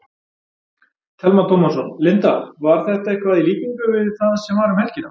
Telma Tómasson: Linda, var þetta eitthvað í líkingu við það sem var um helgina?